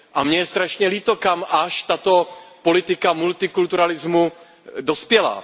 A mně je strašně líto, kam až tato politika multikulturalismu dospěla.